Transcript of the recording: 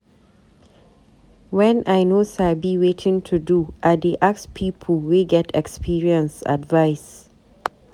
Wen I no sabi wetin to do, I dey ask pipu wey get experience advice.